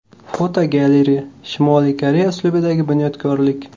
Fotogalereya: Shimoliy Koreya uslubidagi bunyodkorlik.